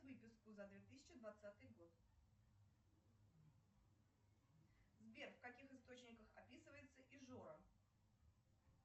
выписку за две тысячи двадцатый год сбер в каких источниках описывается ижора